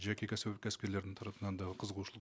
жеке кәсіпкерлердің тарапынан да қызығушылық